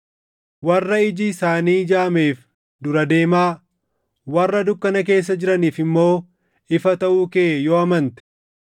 warra iji isaanii jaameef dura deemaa, warra dukkana keessa jiraniif immoo ifa taʼuu kee yoo amante,